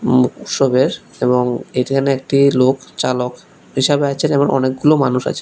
উম উৎসবের এবং এখানে একটি লোক চালক হিসাবে আছেন এবং অনেকগুলো মানুষ আছেন।